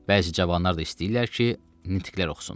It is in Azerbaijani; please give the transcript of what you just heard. Bəzi cavanlar da istəyirlər ki, nitqlər oxusunlar.